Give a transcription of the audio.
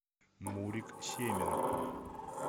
мурик семин